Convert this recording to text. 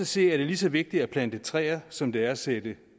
se er det lige så vigtigt at plante træer som det er at sætte